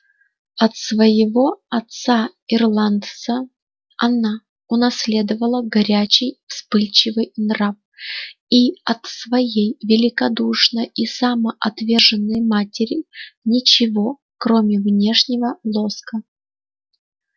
от своего отца-ирландца она унаследовала горячий вспыльчивый нрав и от своей великодушной и самоотверженной матери ничего кроме внешнего лоска